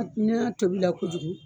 Ni y'a tobi la kojugu